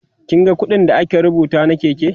kin ga ƙuɗin da aka rubuta na Keke?